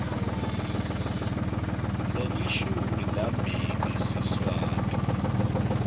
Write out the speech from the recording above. lelishumi nambili siswati